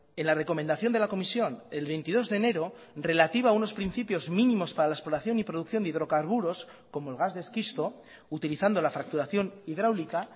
en la recomendación de la comisión el veintidós de enero relativa a unos principios mínimos para la exploración y producción de hidrocarburos como el gas de esquisto utilizando la fracturación hidráulica